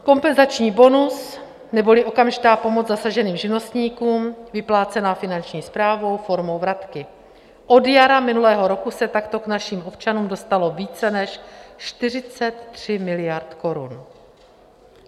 Kompenzační bonus neboli okamžitá pomoc zasaženým živnostníkům, vyplácená finanční správou formou vratky - od jara minulého roku se takto k našim občanům dostalo více než 43 miliard korun.